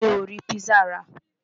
Mi ò rí pizza rà.